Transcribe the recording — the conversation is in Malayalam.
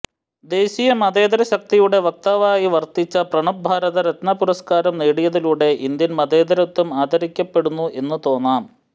ദേശീയ മതേതര ശക്തിയുടെ വക്താവായി വര്ത്തിച്ച പ്രണബ് ഭാരതരത്ന പുരസ്കാരം നേടിയതിലൂടെ ഇന്ത്യന് മതേതരത്വം ആദരിക്കപ്പെടുന്നു എന്നു തോന്നാം